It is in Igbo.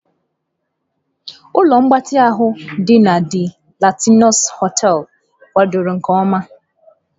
Ụlọ mgbatị ahụ dị na DE Latinos hoteelu kwadoro nke ọma.